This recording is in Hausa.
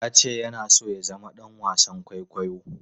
Ya ce yana so ya zama ɗan wasan kwaikwayo.